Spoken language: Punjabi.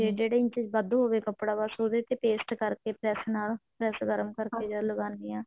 ਜਿਹੜੇ inches ਵੱਧ ਹੋਵੇ ਕੱਪੜਾ ਬਸ ਉਹਦੇ ਤੇ paste ਕਰਕੇ press ਨਾਲ press ਗਰਮ ਕਰਕੇ ਲਗਾਉਣੇ ਹਾਂ